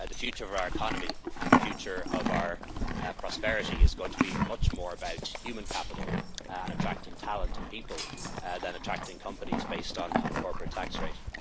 in. The future of our economy and the future of our prosperity is going to be much more about human capital and attracting talent and people than attracting companies based on corporate tax